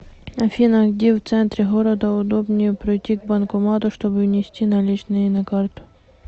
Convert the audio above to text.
афина где в центре города удобнее пройти к банкомату чтобы внести наличные на карту